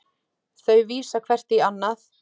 Þau vísa hvert í annað.